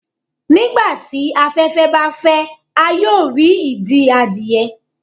nigbati afẹfẹ ba fẹ, a yoo ri idi adie